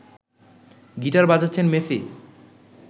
guitar বাজাচ্ছেন Messi